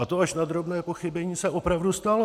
A to až na drobné pochybení se opravdu stalo.